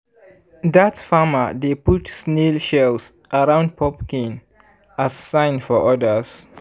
dat farmer dey put snail shells around pumpkin as sign for others.